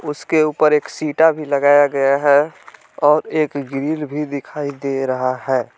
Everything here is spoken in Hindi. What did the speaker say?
उसके ऊपर एक भी लगाया गया है और एक ग्रिल भी दिखाई दे रहा है।